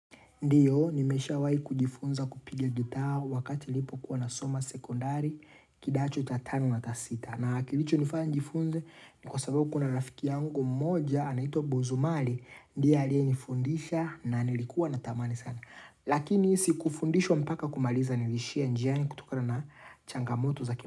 Ndio, nimeshawahi kujifunza kupigia gita wakati nilipo kuwa na soma sekondari kidacho cha tano na cha sita. Na kilichonifanya njifunze ni kwa sababu kuna rafiki yangu mmoja anaitwa bozumali. Ndiye alieyenifundisha na nilikuwa na tamani sana. Lakini sikufundishwa mpaka kumaliza nilishia njiani kutokana na changamoto za kima.